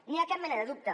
no hi ha cap mena de dubte